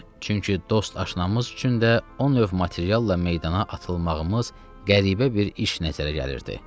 Çünki dost aşnamız üçün də o növ materialla meydana atılmağımız qəribə bir iş nəzərə gəlirdi.